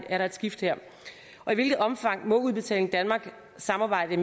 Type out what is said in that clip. er der et skift her i hvilket omfang må udbetaling danmark samarbejde